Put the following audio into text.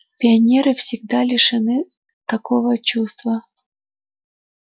пионеры всегда лишены такого чувства